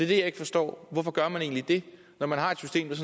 det jeg ikke forstår hvorfor gør man egentlig det når man har et system der